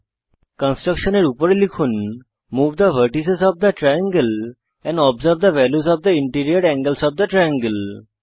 কনস্ট্রাক্টশনের উপরে লিখুন move the vertices of the triangle and observe the values of the interior angles of the triangle